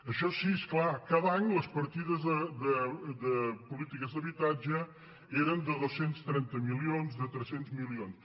això sí és clar cada any les partides de polítiques d’habitatge eren de dos cents i trenta milions de tres cents milions